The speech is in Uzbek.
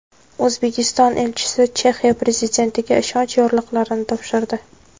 O‘zbekiston elchisi Chexiya prezidentiga ishonch yorliqlarini topshirdi.